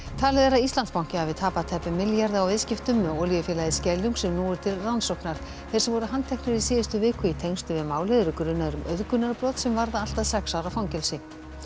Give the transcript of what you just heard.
talið er að Íslandsbanki hafi tapað tæpum milljarði á viðskiptum með olíufélagið Skeljung sem nú eru til rannsóknar þeir sem voru handteknir í síðustu viku í tengslum við málið eru grunaðir um auðgunarbrot sem varða allt að sex ára fangelsi